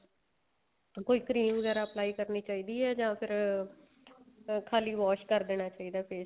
ਕੋਈ cream ਵਗੈਰਾ apply ਕਰਨੀ ਚਾਹੀਦੀ ਏ ਜਾਂ ਫ਼ਿਰ ਅਹ ਖਾਲੀ wash ਕ਼ਰ ਦੇਣਾ ਚਾਹੀਦਾ face